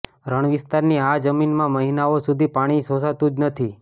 રણવિસ્તારની આ જમીનમાં મહિનાઓ સુધી પાણી શોષાતું જ નથી